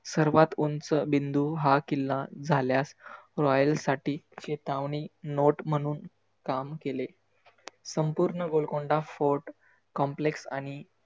सर्वात उंच बिंदू हा किल्ला झाल्यास royal साठी चेतावनी note म्हणून काम केले. संपुर्ण गोलकोंडा fort, complex आणि